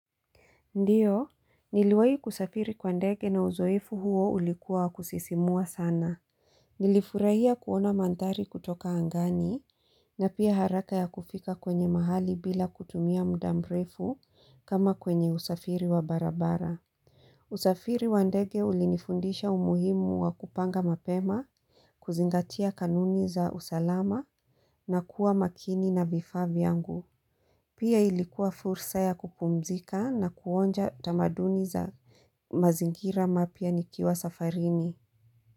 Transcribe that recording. Ndiyo, niliwai kusafiri kwa ndege na uzoefu huo ulikua wa kusisimua sana. Nilifurahia kuona mandhari kutoka angani, na pia haraka ya kufika kwenye mahali bila kutumia mudamrefu kama kwenye usafiri wa barabara. Usafiri wa ndege ulinifundisha umuhimu wa kupanga mapema, kuzingatia kanuni za usalama na kuwa makini na vifaa vyangu. Pia ilikuwa fursa ya kupumzika na kuonja tamaduni za mazingira mapya nikiwa safarini.